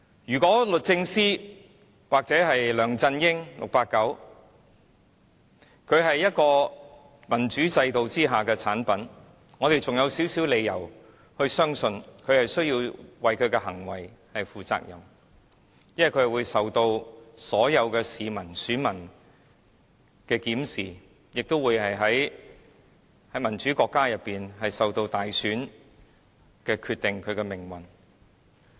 如果律政司或 "689" 梁振英是民主制度下的產物，我們還有少許理由相信他需要為其行為負責，因為他會受到所有市民、選民的檢視，亦會像民主國家般由大選決定其命運。